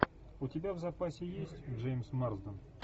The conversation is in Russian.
у тебя в запасе есть джеймс марсден